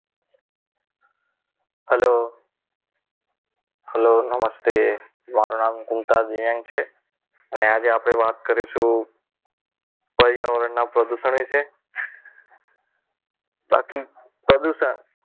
Hello hello નમસ્તે મારું નામ કુંકાર દેવગ છે અને આજે આપણે વાત કરીશું પર્યાવરણના પ્રદૂષણ વિશે બાકી પ્રદૂષણ